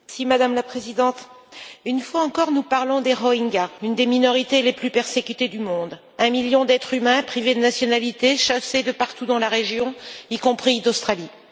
Madame la Présidente, une fois encore, nous parlons des Rohingyas, l'une des minorités les plus persécutées au monde un million d'êtres humains privés de nationalité, chassés de partout dans la région, y compris d'Australie.